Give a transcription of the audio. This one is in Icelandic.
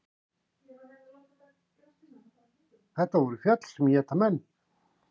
Þetta voru fjöll sem éta menn.